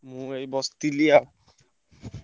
ମୁଁ ଏଇ ବସ ଥିଲି ଆ।